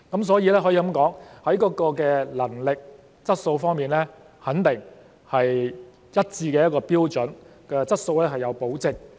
所以，可以說，在能力和質素方面，肯定是有一致的標準，質素是有保證的。